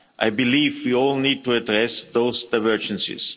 I believe we all need to address those divergences.